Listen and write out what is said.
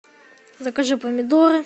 закажи помидоры